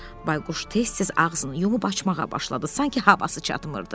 Bayquş tez-tez ağzını yumub açmağa başladı, sanki havası çatmırdı.